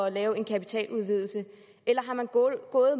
at lave en kapitaludvidelse eller er man gået